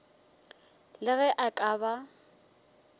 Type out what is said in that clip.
le ge a ka ba